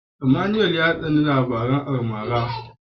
Emmanuel ya tsani labaran almara.